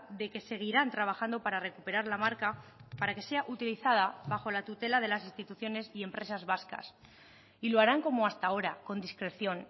de que seguirán trabajando para recuperar la marca para que sea utilizada bajo la tutela de las instituciones y empresas vascas y lo harán como hasta ahora con discreción